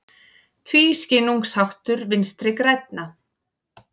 Tvískinnungsháttur Vinstri grænna